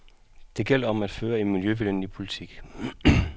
Det gælder om at føre en miljøvenlig politik.